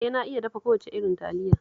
Eh, na iya dafa kowace irin Taliya